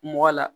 Mɔgɔ la